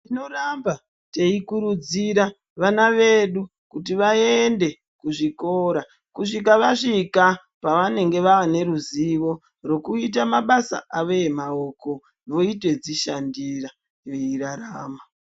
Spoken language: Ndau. Tinoramba teikurudzira vana vedu kuti vaende kuzvikora kusvika vasvika pvanenge vaane ruziwo rwekuita mabasa avo emaoko veitodzishandira weirarama.